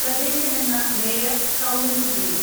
പ്രദേശമെന്ന mayor Soumini Jain